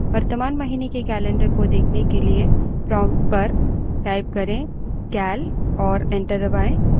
वर्तमान महीने के calendar को देखने के लिए prompt पर cal type करें और enter दबायें